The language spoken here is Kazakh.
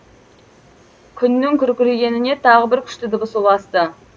күннің күркірегеніне тағы бір күшті дыбыс ұласты